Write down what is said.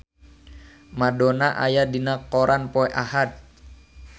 Madonna aya dina koran poe Ahad